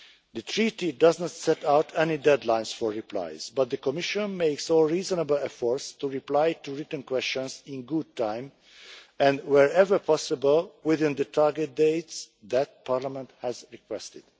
The Treaty does not set out any deadlines for replies, but the Commission makes all reasonable efforts to reply to written questions in good time and, wherever possible, within the target dates that Parliament has requested.